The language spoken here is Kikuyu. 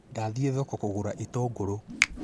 Ndathiĩ thoko kũgũra itũngũrũ